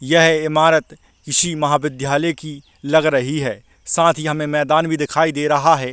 यह इमारत किसी महाविद्यायल की लग रही है साथ ही हमे मैदान भी दिखाई दे रहा है।